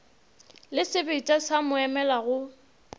le sebetša sa moomela go